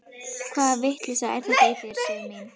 Hvaða vitleysa er þetta í þér, Sif mín!